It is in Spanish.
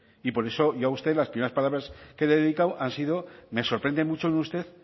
y por eso ya usted las primeras palabras que le he dedicado han sido me sorprende mucho en usted